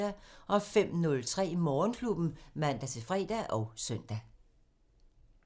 05:03: Morgenklubben (man-fre og søn)